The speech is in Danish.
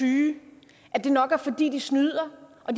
syge at det nok er fordi de snyder og